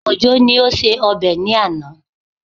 Òjó ni ó ṣe ọbẹ̀ ní àná